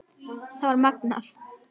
Það var magnað.